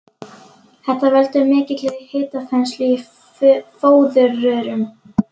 Þetta veldur mikilli hitaþenslu í fóðurrörum.